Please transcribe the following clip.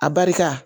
A barika